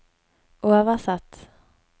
oversatt